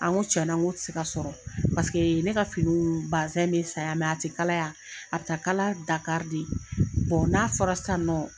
N ko tiɲɛna , n ko tɛ se ka sɔrɔ. Paseke ne ka finiw, bazin bɛ san yan mɛ a tɛ kala yan, a bɛ taa kala Dakari de. n'a fɔra sisan nɔ